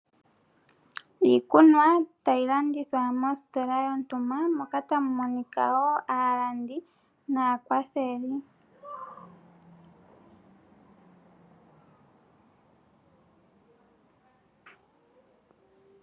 Iikunwa tayi landithwa mositola yontumba moka tamu monika wo aalandi naakwatheli.